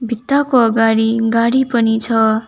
भित्ताको अगाडि गाड़ी पनि छ।